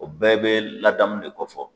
O bɛɛ bɛ ladamu de ko fɔ.